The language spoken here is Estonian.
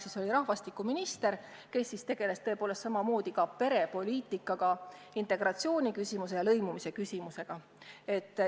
Ta oli rahvastikuminister, kes siis tegeles samamoodi ka perepoliitikaga, integratsiooni ja lõimumise küsimustega.